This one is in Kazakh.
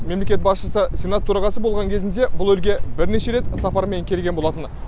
мемлекет басшысы сенат төрағасы болған кезінде бұл елге бірнеше рет сапармен келген болатын